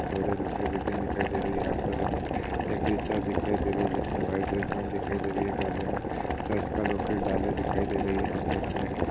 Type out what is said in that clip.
दूसरी बिल्डिंग दिखाई दे रही है। यहां पर हमें एक टीचर दिखाई दे रही है जिसने वाइट ड्रेस पहनी देखाई दे रही है गले में चर्च का लाकिट डाले दिखाई दे रही है यहां पर हमें --